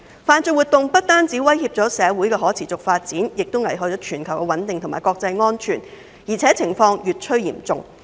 犯罪活動不但威脅社會的可持續發展，危害全球的穩定及國際安全，情況還越來越嚴重。